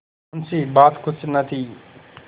मुंशीबात कुछ न थी